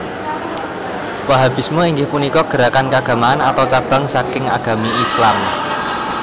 Wahhabisme inggih punika gerakan kaagamaan atau cabang saking agami Islam